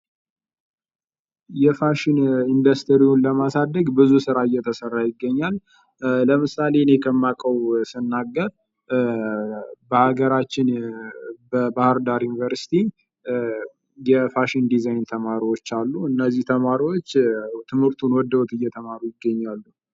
የፋሽን ኢንደስትሪን ለማሳደግ ብዙ ስራ እየተሰራ ይገኛል ለምሳሌ እኔ ከማውቀው ሲናገር በሀገራችን በባህር ዳር ዩኒቨርሲቲ የፋሽን ዲዛይን ተማሪዎች ያሉ እነዚህ ተማሪዎች ትምህርቱን ወደውት እየተማሩ ይገኛሉ።